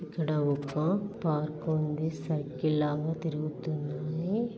ఇక్కడ ఒక పార్కు ఉంది. సర్కిల్ లాగా తిరుగుతుంది.